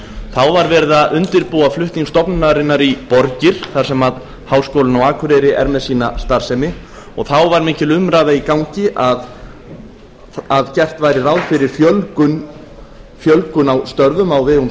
þá var verið að undirbúa flutning stofnunarinnar í borgir þar sem háskólinn á akureyri er með sína starfsemi og þá var mikil umræða í gangi að gert væri ráð fyrir fjölgun á störfum á vegum